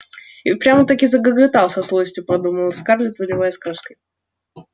и прямо-таки загоготал со злостью подумала скарлетт заливаясь краской